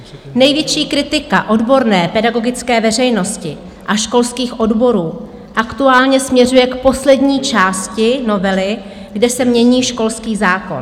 Největší kritika odborné pedagogické veřejnosti a školských odborů aktuálně směřuje k poslední části novely, kde se mění školský zákon.